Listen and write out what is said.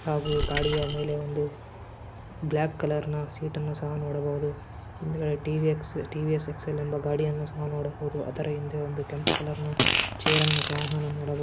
ಹಾಗೂ ಗಾಡಿಯ ಮೇಲೆ ಒಂದು ಬ್ಲಾಕ್ ಕಲರ್ ಸೀಟನ್ನು ಸಹ ನೋಡಬಹುದು ಹಿಂದಿ ಟಿ.ವಿ .ಎಸ್ ಎಕ್ಸೆಲ್ ಗಡಿಯನ್ನು ಸಹ ನೋಡಬಹುದಸಹ ಆದರೆ ಹಿಂದೆ ಕೆಂಪು ಕೊಲೆರ್ ಚೇರ್ ರುಣು ಸಹ ನೋಡಬಹುದು.